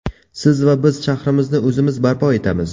Siz va biz shahrimizni o‘zimiz barpo etamiz.